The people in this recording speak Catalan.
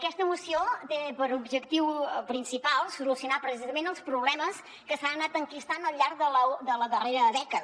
aquesta moció té per objectiu principal solucionar precisament els problemes que s’han anat enquistant al llarg de la darrera dècada